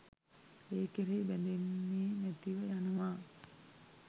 ඒ කෙරෙහි බැඳෙන්නෙ නැතිව යනවා.